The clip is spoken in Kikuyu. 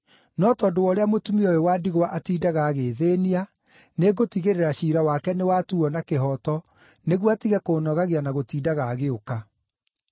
no tondũ wa ũrĩa mũtumia ũyũ wa ndigwa atiindaga agĩĩthĩĩnia, nĩngũtigĩrĩra ciira wake nĩwatuuo na kĩhooto nĩguo atige kũũnogagia na gũtindaga agĩũka!’ ”